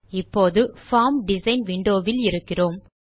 இப்போது form design window வில் இருக்கிறோம்